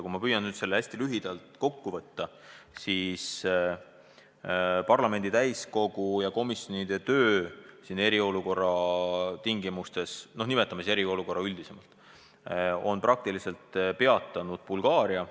Kui ma püüan selle hästi lühidalt kokku võtta, siis parlamendi täiskogu ja komisjonide töö eriolukorra tingimustes on praktiliselt peatanud Bulgaaria.